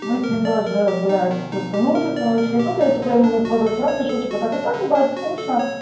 мы с ним даже блядь тусанули короче и тут я типа ему позавчера пишу типа так и так ебать скучно